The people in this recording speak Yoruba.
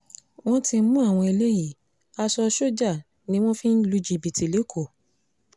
wọ́n ti mú àwọn eléyìí aṣọ sójà ni wọ́n fi ń lu jìbìtì lẹ́kọ̀ọ́